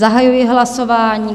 Zahajuji hlasování.